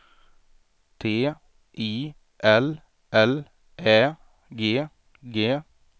T I L L Ä G G